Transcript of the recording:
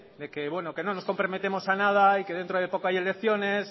de que bueno que no nos comprometemos a nada y que dentro de poco hay elecciones